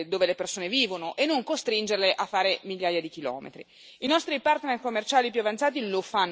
ovviamente nei posti dove le persone vivono, e non costringerle a fare migliaia di chilometri.